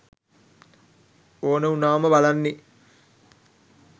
ඕන උනාම බලන්නෙ